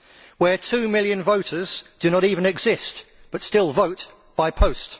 where two million voters do not even exist but still vote by post